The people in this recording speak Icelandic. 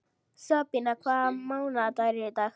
Sabína, hvaða mánaðardagur er í dag?